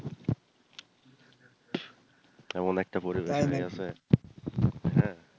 কেমন একটা পরিবেশ